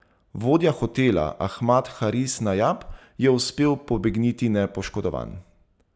Vodja hotela Ahmad Haris Najab je uspel pobegniti nepoškodovan.